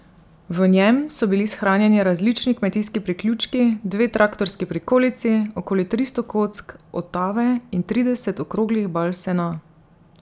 V njem so bili shranjeni različni kmetijski priključki, dve traktorski prikolici, okoli tristo kock otave in trideset okroglih bal sena.